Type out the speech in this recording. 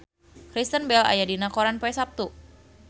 Kristen Bell aya dina koran poe Saptu